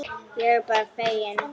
Ég er bara feginn.